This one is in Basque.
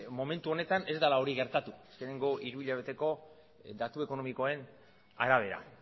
momentu honetan ez dela hori gertatu azkeneko hiruhilabeteko datu ekonomikoen arabera